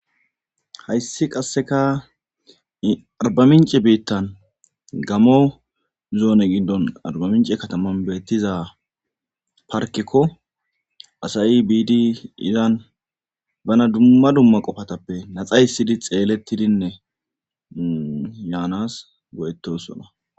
Hayssi qasseka arbamince biittan gamo zoone gindon arbamince kataman beettiza parkekko asayi biidi izan bana dumma dumma qofatappe naxaysidi xeelettidinne yaanas goyettosona